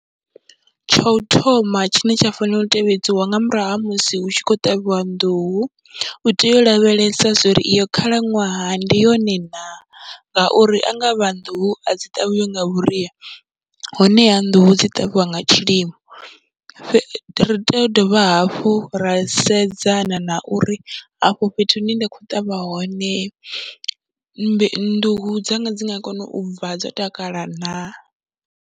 Tsha u thoma tshine tsha fanela u tevhedziwa nga murahu ha musi hu tshi khou ṱavhiwa nḓuhu, u tea u lavhelesa uri iyo khalaṅwaha ndi yone naa ngauri a nga vha nḓuhu a dzi ṱavhiwi nga vhuria honeha nḓuhu dzi ṱavhiwa nga tshilimo. Ri tea u dovha hafhu ra sedzana na uri afho fhethu hune ndi khou ṱavha hone mbe nḓuhu dzanga dzi nga kona u bva dzo takala naa.